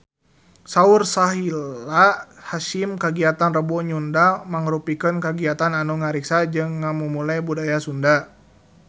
Saur Sahila Hisyam kagiatan Rebo Nyunda mangrupikeun kagiatan anu ngariksa jeung ngamumule budaya Sunda